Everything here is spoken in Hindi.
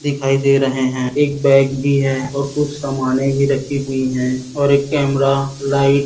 दिखाई दे रहे हैं एक बैग भी है और कुछ समाने भी रखी हुई है और एक कैमरा लाइट --